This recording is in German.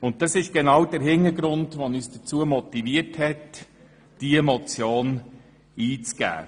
Diese Überlegungen haben uns dazu motiviert, die vorliegende Motion einzureichen.